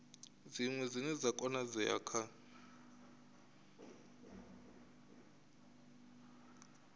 dziṅwe dzine dza konadzea kha